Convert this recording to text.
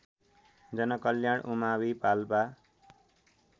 जनकल्याण उमावि पाल्पा